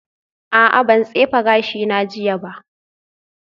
A'a ban tsefe gashina jiya ba